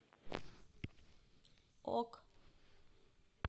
ок